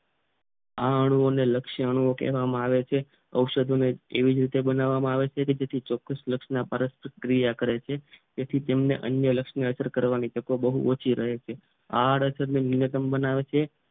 આ અણુ ને લક્ષણો કહેવામાં આવે છે ઔષધ અને એવી રીતે બનાવવામાં આવે છે ચોક્કસ લક્ષણ ના પારસ્પરિક ક્રિયા કરે છે અન્ય લક્ષ્ય કરવાની તક ઓછી મળે છે આ અડસર ને ન્યુનતમ